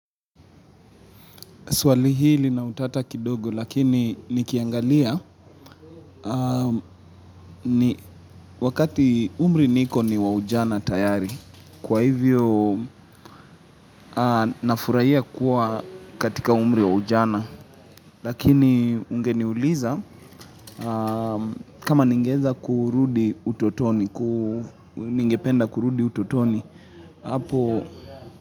Swali hili na utata kidogo lakini nikiangalia wakati umri niko ni wa ujana tayari. Kwa hivyo nafurahia kuwa katika umri wa ujana lakini ungeniuliza kama ningeza kurudi utotoni, ningependa kurudi utotoni.